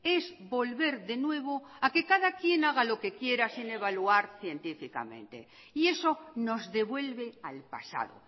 es volver de nuevo a que cada quien haga lo que quiera sin evaluar científicamente y eso nos devuelve al pasado